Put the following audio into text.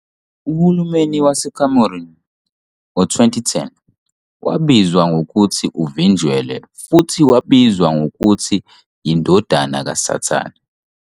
Uhulumeni waseCameroon ngo-2010 wabizwa ngokuthi `` uvinjelwe " futhi wabizwa ngokuthi 'yindodana kasathane.